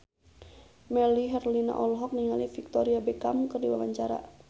Melly Herlina olohok ningali Victoria Beckham keur diwawancara